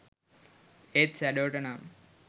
ඒත් ෂැඩෝට නම්